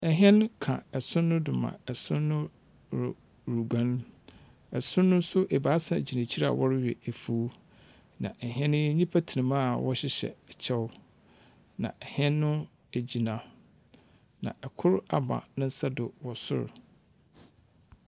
Hɛn ka son do ma son ru ruguan, son no so ebiasa gyina hɔ a wɔrowe efuw, na hɛn yi nyimpa tsena mu a wɔhyehyɛ kyɛw na hɛn no egyina. Na kor ama e nsa do wɔ sor.